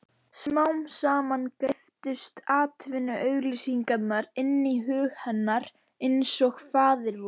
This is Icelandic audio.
Smám saman greyptust atvinnuauglýsingarnar inn í hug hennar einsog Faðirvorið.